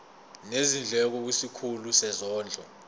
nezindleko kwisikhulu sezondlo